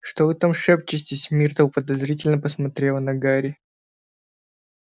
что вы там шепчетесь миртл подозрительно посмотрела на гарри